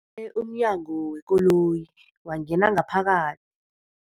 e umnyango wekoloyi wangena ngaphaka